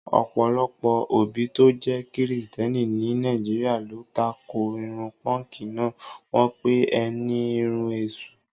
ọ̀pọ̀lọpọ̀ òbí tó jẹ́ Kìrìsìtẹ́ẹ́nì ní Nàìjíríà ló tako irun pọ́ǹkì náà, wọ́n pè é ní irun èṣù.